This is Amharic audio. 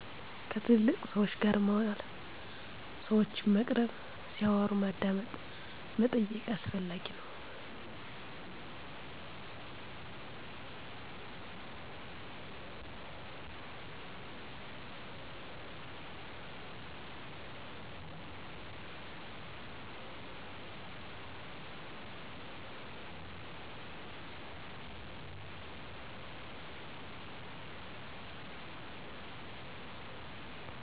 ከትልልቅ ሰወች ጋር መዋል ሰወችን መቅረብ ሲያወሩ ማዳመጥ መጠየቅ አስፈላጊ ነዉ።